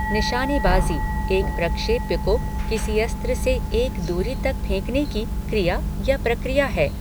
निशानेबाजी, एक प्रक्षेप्य को किसी अस्त्र से एक दूरी तक फेंकने की क्रिया या प्रक्रिया है।